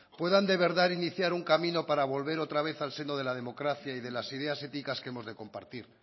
puedan de verdad iniciar un camino para volver otra vez al seno de la democracia y de las ideas éticas que hemos de compartir